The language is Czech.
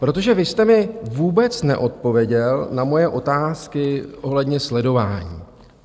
Protože vy jste mi vůbec neodpověděl na moje otázky ohledně sledování.